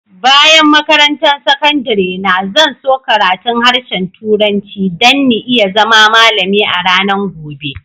Bayan makarantan sakandare na, zan so karatun harshen turanci dan n'iya zama malami a'ranan gobe.